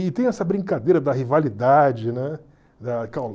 E tem essa brincadeira da rivalidade, né?